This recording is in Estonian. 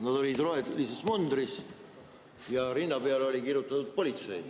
Nad olid rohelises mundris ja rinna peale oli kirjutatud "Politsei".